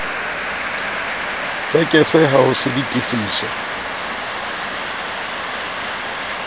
fekese ha ho se ditefiso